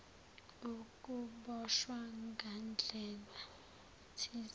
ukuboshwa ngandlela thize